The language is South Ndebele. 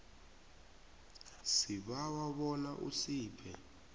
sibawa bona usiphe